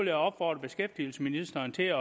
jeg opfordrer beskæftigelsesministeren til at